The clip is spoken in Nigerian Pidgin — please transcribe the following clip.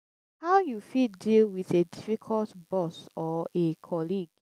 how you fit deal with a difficult boss or a colleague?